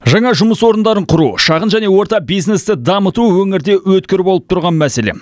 жаңа жұмыс орындарын құру шағын және орта бизнесті дамыту өңірде өткір болып тұрған мәселе